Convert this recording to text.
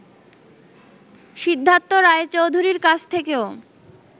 সিদ্ধার্থ রায়চৌধুরীর কাছ থেকেও